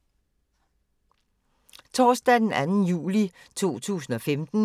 Torsdag d. 2. juli 2015